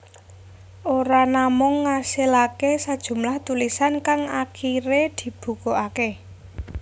Ora namung ngasilaké sajumlah tulisan kang akiré dibukukaké